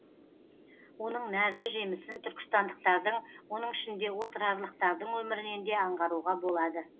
оның нәрлі жемісін түркістандықтардың оның ішінде отырарлықтардың өмірінен де аңғаруға болады